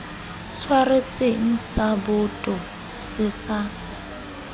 tshwaretseng sa boto se sa